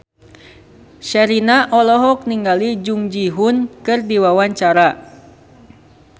Sherina olohok ningali Jung Ji Hoon keur diwawancara